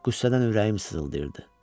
Qüssədən ürəyim sızıldayırdı.